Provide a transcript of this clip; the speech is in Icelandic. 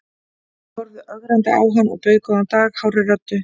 Ég horfði ögrandi á hann og bauð góðan dag hárri röddu.